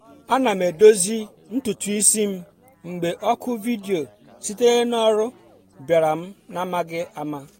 ana m edozi ntutu isi m mgbe oku vidio sitere n’ọrụ bịara m n’amaghị ama